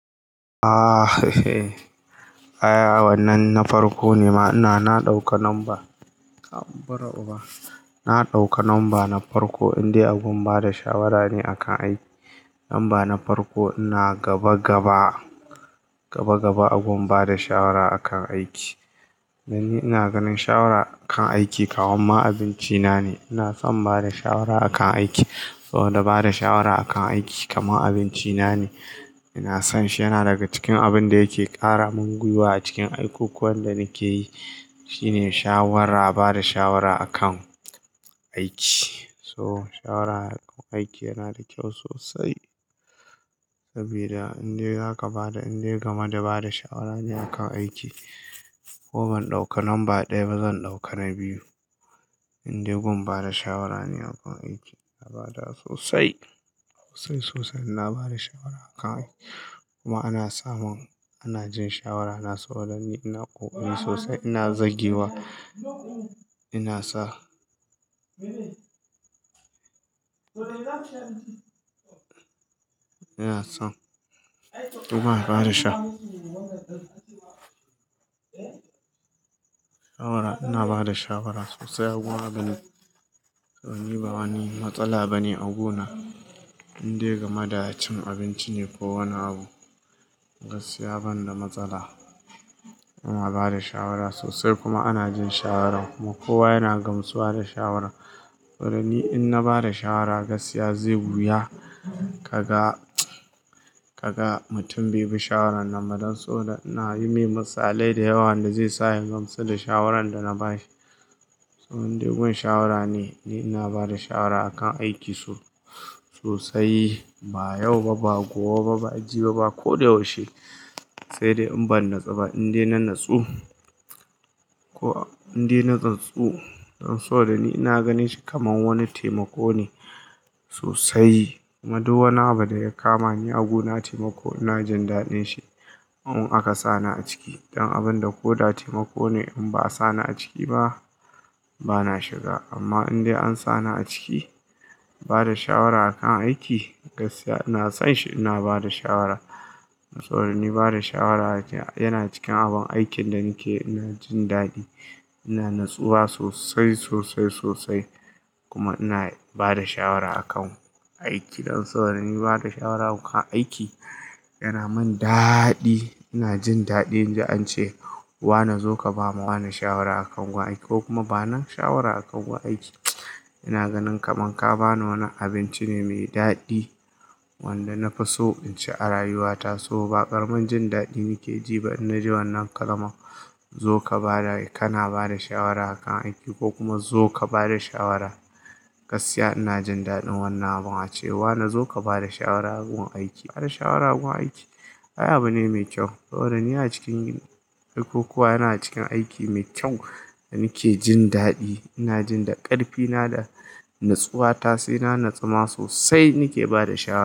Ahhh, hehe ai wannan na farko ne ma. Ina, na ɗauka number, ha bura uba na ɗauka number na farko, inda a gun bada shawara ne a kan aiki. Number na farko ina gaba-gaba, gabagaba a gun bada shawara akan aiki. Dan ni ina ganin shawara kan aiki kamar ma abinci na ne. Ina son bada shawara akan aiki. Saboda bada shawara akan aiki kamar abinci na ne. Ina son shi, yana daga cikin abun da yake ƙara min gwiwa a cikin aikukuwan da nake yi. Shi ne shawara bada shawara akan aiki. So shawara aiki yana da kyau sosai. Sabida indai zaka bada, indai game da bada shawara ne a kan aiki. Ko ban ɗauka number ɗaya ba, zan ɗauka na biyu. Inde gun bada shawara ne akan aiki. Na bada sosai, sosai sosai. Ina bada shawara akan aiki kuma ana samun, ana jin shawara. Na so, dan ni ina ƙoƙari sosai, ina zagewa. Ina sa ina son kuma a bada sha- shawara. Ina bada shawara sosai a gun abin. Dan ni ba wani matsala ba ne a guna. Indai game da cin abinci ne ko wani abu, gaskiya ban da matsala. Ina bada shawara sosai kuma ana jin shawaran mu. Kowa yana gamsu da shawaran. Dan ni in na bada shawara, gaskiya zai wuya ka ga, ka ga mutum bai bi shawaran nam ba. Dan saboda ina yi yimi ni misali da yawa, wanda zai sa ya gamsu da shawaran da na ba shi. So indai gun shawara ne, inda ni ina bada shawara akan aiki so sosai, ba yau ba, ba gobe ba, ba jibi ba. Ko da yaushe. Sai dai in ban nutsu ba. Indai na nutsu ko indai na natsu dan saboda da ni ina ganin shi kamar wani taimako ne sosai. Kuma duk wani abu da ya kama ni a guna taimako, ina jin daɗin shi. In aka sa ni a ciki. Don abun da ko da taimako ne in ba a sa ni a ciki ba, bana shiga. Amma indai an sa ni a ciki, bada shawara akan aiki, gaskiya ina son shi. Ina bada shawara. Sabod ni bada shawara nake yana cikin abun aikin da nake yi. Ina jin daɗi, ina natsuwa sosai, sosai, sosai kuma ina bada shawara akan aiki. Saboda dan ni bada shawara akan aiki yana min daadii. Ina jin daɗin inji an ce "wane zo ka ba ma wane shawara akan gun aiki ko kuma bani shawara akan gun aiki." Ina ganin kamar ka bani wani abinci ne mai daɗi, wanda nafi so in ci a rayuwa ta. So ba ƙaramin jin daɗi nake ji ba idan na ji wannan kalma. Zo ka ba da, kana ba da shawara akan aiki ko kuma zo ka ba da shawara. Gaskiya ina jin daɗin wannan abun. A ce wane zo ka bada shawara a gun aiki. Ai shawara a gun aiki, ai abu ne mai kyau. Saboda dan ni a cikin aikukuwa, yana cikin aiki mai kyau da nake jin daɗi. Ina jin da ƙarfi na da natsuwa ta. Sai na nutsu ma sosai, nake bada shawara.